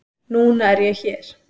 Núna er ég hér.